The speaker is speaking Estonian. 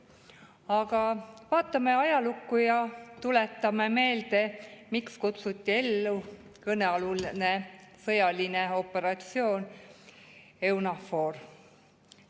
Aga vaatame ajalukku ja tuletame meelde, miks kutsuti ellu kõnealune sõjaline operatsioon EUNAVFOR.